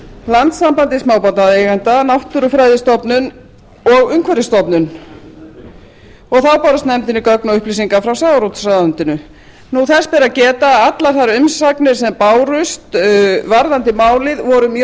landssambandi smábátaeigenda náttúrufræðistofnun íslands og umhverfisstofnun þá bárust nefndinni gögn og upplýsingar frá sjávarútvegsráðuneyti þess ber að geta að allar þær umsagnir sem bárust um málið voru mjög